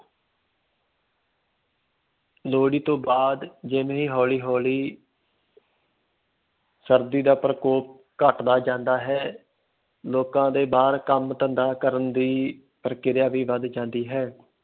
ਲੋਹੜੀ ਤੋਂ ਬਾਅਦ ਜਿਵੇਂ ਹੌਲੀ ਹੌਲੀ ਸਰਦੀ ਦਾ ਪ੍ਰਕੋਪ ਘੱਟਦਾ ਜਾਂਦਾ ਹੈ, ਲੋਕਾਂ ਦੇ ਬਾਹਰ ਕੰਮ ਧੰਦਾ ਕਰਨ ਦੀ ਪ੍ਰਕਿਰਿਆ ਵੀ ਵੱਧ ਜਾਂਦੀ ਹੈ।